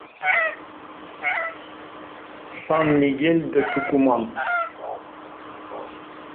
сан мигель де тукуман